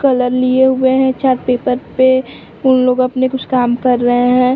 Colour लिए हुए हैं चार्ट पेपर पे उन लोग अपने कुछ काम कर रहे हैं।